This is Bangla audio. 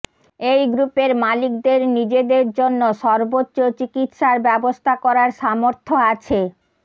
এই গ্রুপের মালিকদের নিজেদের জন্য সর্বোচ্চ চিকিৎসার ব্যবস্থা করার সামর্থ্য আছে